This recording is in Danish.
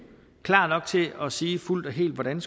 klar nok til at sige fuldt og helt hvordan